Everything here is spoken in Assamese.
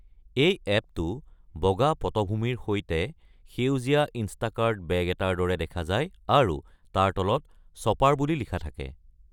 এই এপটো, বগা পটভূমিৰ সৈতে সেউজীয়া ইণ্ষ্টাকাৰ্ট বেগ এটাৰ দৰে দেখা যায় আৰু তাৰ তলত "শ্বপাৰ" বুলি লিখা থাকে।